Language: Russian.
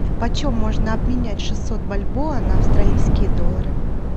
почем можно обменять шестьсот бальбоа на австралийские доллары